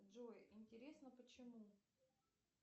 джой интересно почему